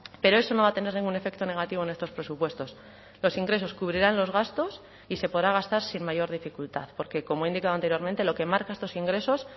pero eso no va a tener ningún efecto negativo en estos presupuestos los ingresos cubrirán los gastos y se podrá gastar sin mayor dificultad porque como he indicado anteriormente lo que marca estos ingresos